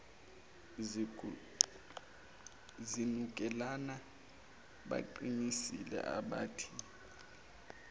zinukelana baqinisile abathi